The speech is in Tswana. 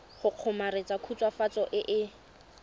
go kgomaretsa khutswafatso e e